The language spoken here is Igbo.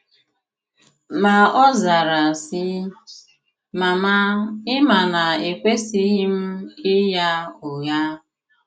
Ma ọ zara, sị, “ Mama ị ma na ekwesịghị m ịgha ụgha.